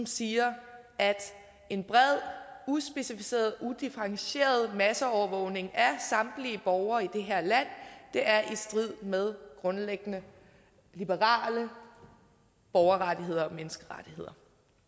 siger at en bred uspecificeret udifferentieret masseovervågning af samtlige borgere i det her land er i strid med grundlæggende liberale borgerrettigheder og menneskerettigheder